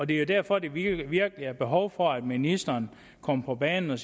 det er derfor der virkelig virkelig er behov for at ministeren kommer på banen og